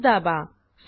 Ctrl स् दाबा